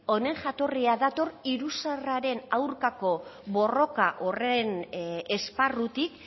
honen jatorria dator iruzurraren aurkako borroka horren esparrutik